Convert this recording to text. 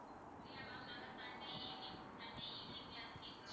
இல்ல ma'am நாங்க sunday evening sunday evening ல இருந்து கேக்குறோம்